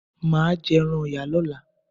Maa jẹ ẹran Ọ̀yà lọ́la.